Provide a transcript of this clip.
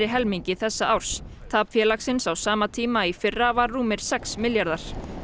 helmingi þessa árs tap félagsins á sama tíma í fyrra var rúmir sex milljarðar